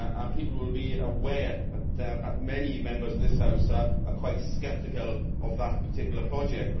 People will be aware that many Members of this House are quite sceptical about that particular project.